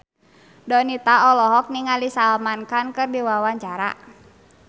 Donita olohok ningali Salman Khan keur diwawancara